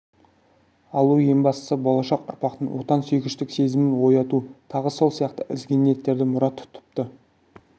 алу ең бастысы болашақ ұрпақтың отансүйгіштік сезімін ояту тағы сол сияқты ізгі ниеттерді мұрат тұтыпты